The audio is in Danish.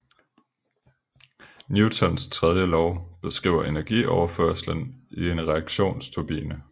Newtons tredje lov beskriver energioverførslen i en reaktionsturbine